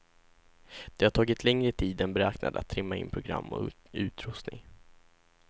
Det har tagit längre tid än beräknat att trimma in program och utrustning.